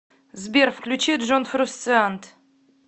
сбер включи джон фрусциант